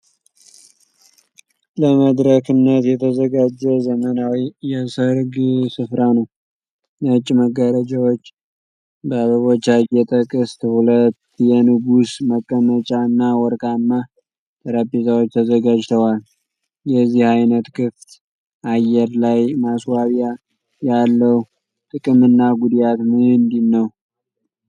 ለመድረክነት የተዘጋጀ ዘመናዊ የሠርግ ስፍራ ነው። ነጭ መጋረጃዎች፣ በአበቦች ያጌጠ ቅስት፣ ሁለት የንጉሥ መቀመጫዎች እና ወርቃማ ጠረጴዛዎች ተዘጋጅተዋል። የዚህ አይነት ክፍት አየር ላይ ማስዋቢያ ያለው ጥቅምና ጉዳት ምንድን ነው?